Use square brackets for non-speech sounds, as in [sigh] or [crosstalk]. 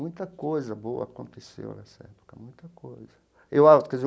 Muita coisa boa aconteceu nessa época, muita coisa. [unintelligible]